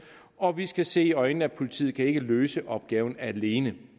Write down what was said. og vi skal se i øjnene at politiet ikke kan løse opgaven alene